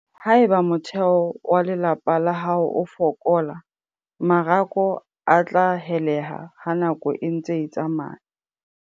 Haeba motheho wa lelapa la hao o fokola, marako a tla heleha ha nako e ntse e tsamaya.